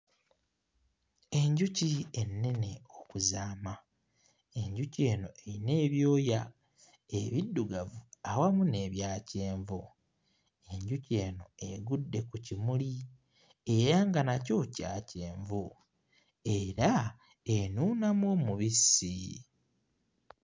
Enjuki ennene okuzaama! Enjuki eno eyina ebyoya ebiddugavu awamu n'ebya kyenvu, enjuki eno egudde ku kimuli era nga nakyo kya kyenvu era enuunamu omubisi.